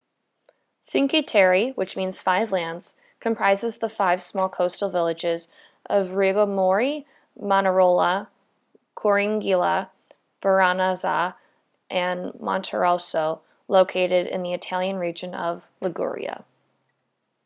cinque terre which means five lands comprises the five small coastal villages of riomaggiore manarola corniglia vernazza and monterosso located in the italian region of liguria